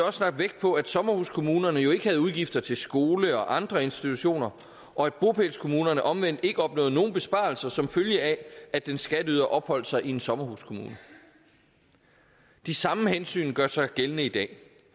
også lagt vægt på at sommerhuskommunerne jo ikke havde udgifter til skole og andre institutioner og at bopælskommunerne omvendt ikke opnåede nogen besparelser som følge af at en skatteyder opholdt sig i en sommerhuskommune de samme hensyn gør sig gældende i dag